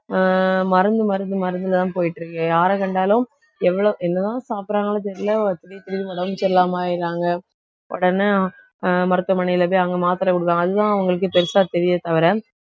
அஹ் மருந்து, மருந்து மருந்து தான் போயிட்டு இருக்கு. யார கண்டாலும் எவ்வளவு என்னதான் சாப்பிடுறாங்களோ தெரியலே. திடீர், திடீர்ன்னு உடம்பு சரியில்லாம ஆயிடுறாங்க உடனே அஹ் மருத்துவமனையில போயி அங்க மாத்திரை கொடுக்கிறாங்க அதுதான் அவங்களுக்கு பெருசா தெரியுதே தவிர